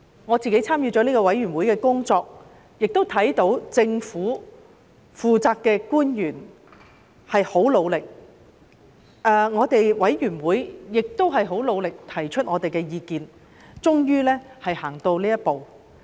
我有份參與有關法案委員會的工作，看到負責的政府官員十分努力，法案委員會亦十分努力提出我們的意見，大家終於走到這一步。